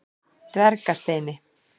Dvergasteini